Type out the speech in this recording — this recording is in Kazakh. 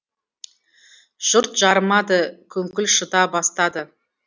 жұрт жарымады күңкіл шыта бастады